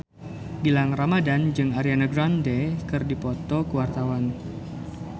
Gilang Ramadan jeung Ariana Grande keur dipoto ku wartawan